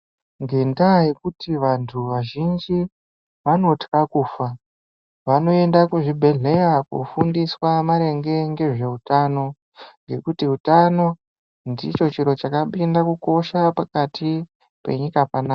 Ngendaa yekuti vantu vazhinji vanotya kufa vanoenda kuzvibhedhleya kofundiswa maringe ngezveutano ngekuti utano ndicho chiro chakapinda kukosha pakati penyika panaapa.